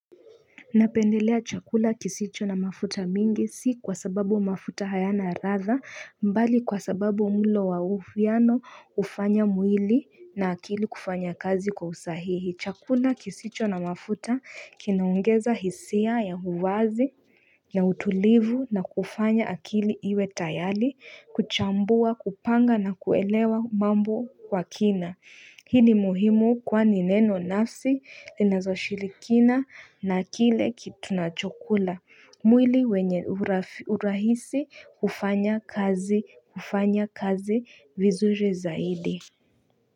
Napendelea chakula kisicho na mafuta mingi si kwa sababu mafuta hayana radha mbali kwa sababu mlo wa ufiano ufanya mwili na akili kufanya kazi kwa usahihi. Chakula kisicho na mafuta kinaongeza hisia ya huwazi, ya utulivu na kufanya akili iwe tayari kuchambua kupanga na kuelewa mambo kwa kina. Hii ni muhimu kwa ni neno nafsi linazo shirikina na kile kitu tunachokula mwili wenye urahisi ufanya kazi ufanya kazi vizuri zaidi.